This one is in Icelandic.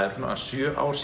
eru svona sjö ár